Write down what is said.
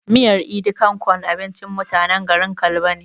Miyar "idi kan kon" abincin mutanen garin kalba ne